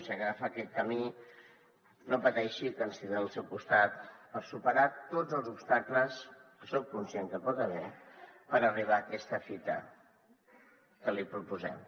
si agafa aquest camí no pateixi que ens tindrà al seu costat per superar tots els obstacles que soc conscient que hi pot haver per arribar a aquesta fita que li proposem